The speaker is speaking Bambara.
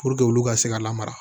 Puruke olu ka se ka lamara